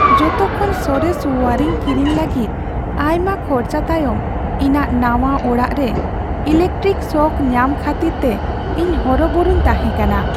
ᱡᱚᱛᱚ ᱠᱷᱚᱱ ᱥᱚᱨᱮᱥ ᱳᱭᱟᱨᱤᱝ ᱠᱤᱨᱤᱧ ᱞᱟᱹᱜᱤᱫ ᱟᱭᱢᱟ ᱠᱷᱚᱨᱪᱟ ᱛᱟᱭᱚᱢ ᱤᱧᱟᱹᱜ ᱱᱟᱶᱟ ᱚᱲᱟᱜ ᱨᱮ ᱮᱞᱤᱠᱟᱨᱴᱤᱠ ᱥᱚᱠ ᱧᱟᱢ ᱠᱷᱟᱹᱛᱤᱨᱛᱮ ᱤᱧ ᱦᱚᱨᱚᱵᱚᱨᱚᱧ ᱛᱟᱦᱮᱸᱠᱟᱱᱟ ᱾